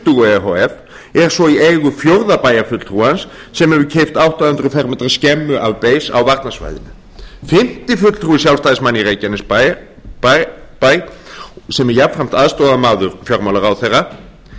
tuttugu e h f er svo í eigu fjórða bæjarfulltrúans sem hefur keypt átta hundruð fermetra skemmu af ber á varnarsvæðinu fimmti fulltrúi sjálfstæðismanna í reykjanesbæ sem er jafnframt aðstoðarmaður fjármálaráðherra